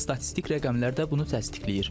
Statistik rəqəmlər də bunu təsdiqləyir.